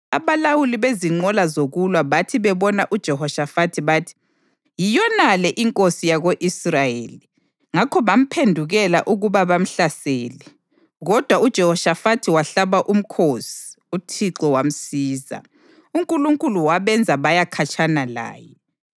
Abalawuli bezinqola zokulwa bathi bebona uJehoshafathi bathi, “Yiyonale inkosi yako-Israyeli.” Ngakho bamphendukela ukuba bamhlasele, kodwa uJehoshafathi wahlaba umkhosi, uThixo wamsiza. UNkulunkulu wabenza baya khatshana laye,